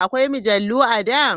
Akwai mujallu a da?